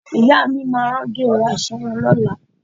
Ìyá mi máa rán gèlè aṣọ wọn lọ́la